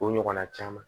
O ɲɔgɔnna caman